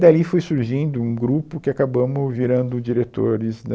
Dali foi surgindo um grupo que acabamo virando diretores.